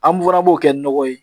An dun fana b'o kɛ nɔgɔ ye